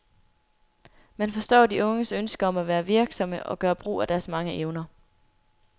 Man forstår de unges ønske om at være virksomme og gør brug af deres mange evner.